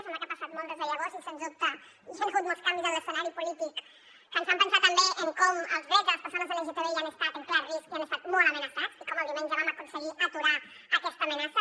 sembla que ha passat molt des de llavors i sense dubte hi han hagut molts canvis en l’escenari polític que ens fan pensar també en com els drets de les persones lgtbi han estat en clar risc i han estat molt amenaçats i com el diumenge vam aconseguir aturar aquesta amenaça